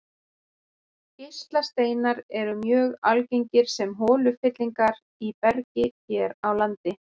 Geislasteinar eru mjög algengir sem holufyllingar í bergi hér á landi.